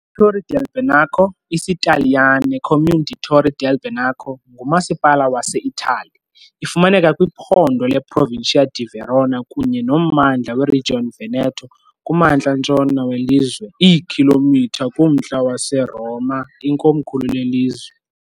ITorri del Benaco, isiTaliyane- Comune di Torri del Benaco, ngumasipala waseItali. Ifumaneka kwiphondo leProvincia di Verona kunye nommandla weRegion Veneto, kumantla ntshona welizwe, iikhilomitha kumntla weRoma, ikomkhulu lelizwe.